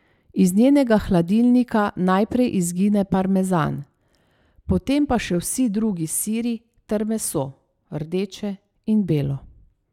Iz njenega hladilnika najprej izgine parmezan, potem pa še vsi drugi siri ter meso, rdeče in belo.